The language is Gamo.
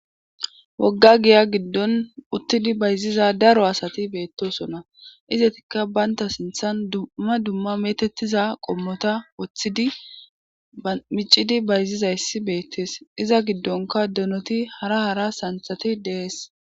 wogga giya giddon uttidi bayziza daro asati beettosona izetikka baynta sinthan dumma dumma metettiza qommota woththidi micidi bayzizayssi beettes iza giddonka donoti hara hara santhati dees